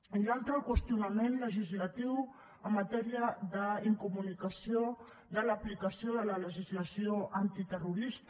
i l’altra el qüestionament legislatiu en matèria d’incomunicació de l’aplicació de la legislació antiterrorista